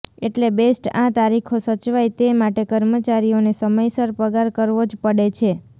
એટલે બેસ્ટે આ તારીખો સચવાય તે માટે કર્મચારીઓને સમયસર પગાર કરવો જ પડે છે